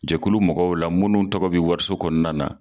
Jɛkulu mɔgɔw la minnu tɔgɔ bɛ wariso kɔnɔna na